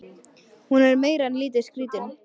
Hún er meira en lítið skrítin.